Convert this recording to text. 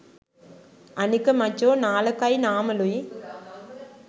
අනික මචෝ නාලකයි නාමලුයි